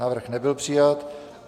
Návrh nebyl přijat.